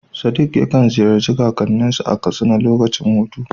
Sadiq yakan ziyarci kakanninsa a Katsina lokacin hutu.